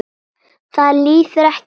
Það líður ekki á löngu.